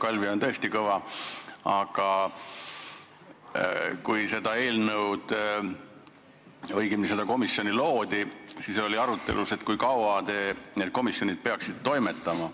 Jah, Kalvi on tõesti Kõva, aga kui seda komisjoni loodi, siis oli arutelu all, kui kaua see komisjon peaks toimetama.